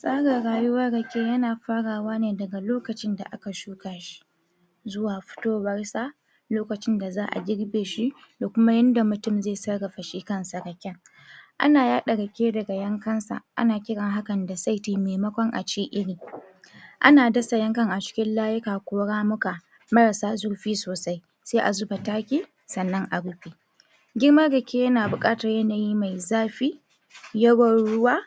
Tsarin rayuwar rake yana frawa ne daga lokacin da aka shuka shi zuwa fitowarsa lokacin da za'a girbe shi, da kuma yadda mutum zai sarrafa shi kanshi raken. Ana yaɗa rake daga yanakn sa ana kiran hakan da saiti maimakon a ce iri. Ana dasa yankan a cikin layi ko ramuka, marasa zurfi sosai, sai a zuba taki, sanna a rufe. Girman rake yana buƙatar yanayi mai zafi, yawan ruwa,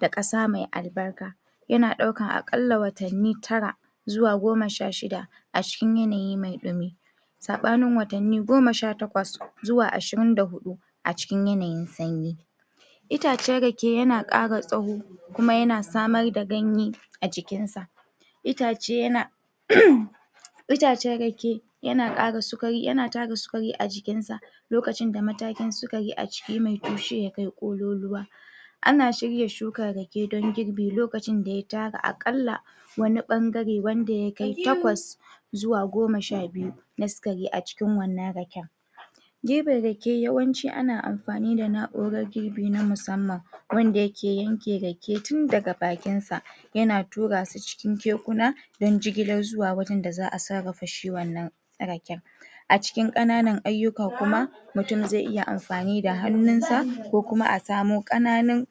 da ƙasa mai albarka. Yana ɗaukan aƙalla watanni tara tara zuwa goma sha shida, a cikin yanayi mai ɗumi. Saɓanin watanni goma sha takwas zuwa ashirin da huɗu a cikin yanayin sanyi. Itacen rake yana ƙara tsawo kuma yana samar da ganye a jkinsa. Itace yana um Itacen rake yana yana tara sukari a jikinsa lokacin da matakin sukari mai tushe ya kai ƙololuwa. Ana shirya shukar rake don girbi lokacin da ya tara aƙalla, wani ɓangare wanda ya kai takwas, zuwa goma sha biyu na sukari a cikin wannan raken. Girbin rake yawanci ana amfani da na'urar girbi na musamman, wanda yake yanke rake tun daga bakinsa, yana turasu cikin kekuna don jigilar zuwa wurin da za'a sarafa shi wannan raken. A cikin ƙananan ayuka kuma, mutum zai iya amfani da hannunsa, ko kuma a samo ƙananun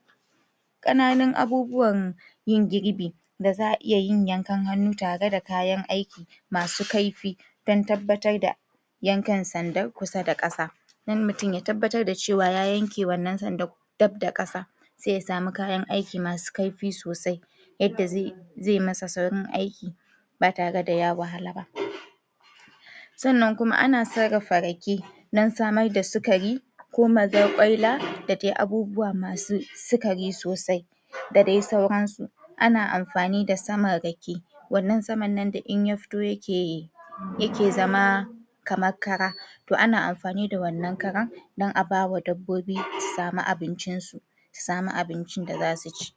ƙanann abubuwan yin girbi, da za'a iya yin yankan hannu tare da kayan aiki, masu kaifi, don tabbatar da yankan sandan kusa da ƙasa, don mutum ya tabbatar da cewa ya yanke wannan sandan dab da ƙasa, sai ya sami kayan aiki masu kaifi sosai, yadda zai zai masa saurin aiki ba tare da ya wahala ba. Sannan kuma ana sarrarafa rake, don samar da sukari ko mazaƙwaila, da dai abubuwa masu sukari sosai, da dai sauransu. Ana amfani da saman rake wannan saman nan da in ya fito yake, yake zama kamar kara. To ana amfani da wannan karan don a bawa dabbobi su sami abincinsu, su sami abincin da za su ci.